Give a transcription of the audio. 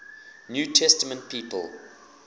new testament people